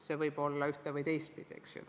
See võib olla ühte- või teistpidi, eks ju.